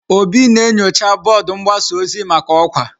Obi na-enyocha bọọdụ mgbasa ozi maka ọkwa.